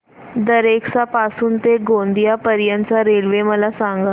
दरेकसा पासून ते गोंदिया पर्यंत च्या रेल्वे मला सांगा